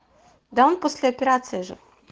да он после операции же